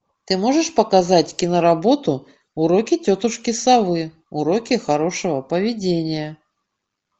ты можешь показать киноработу уроки тетушки совы уроки хорошего поведения